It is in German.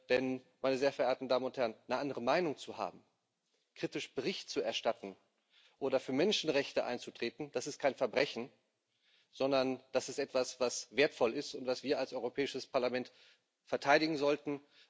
Denn eine andere Meinung zu haben, kritisch Bericht zu erstatten oder für Menschenrechte einzutreten, das ist kein Verbrechen, sondern das ist etwas, was wertvoll ist und was wir als Europäisches Parlament verteidigen sollten.